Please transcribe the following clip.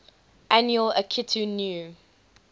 annual akitu new